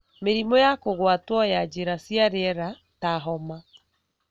mĩrimũ ya kũgwatwo ya njĩra cia rĩera ta homa,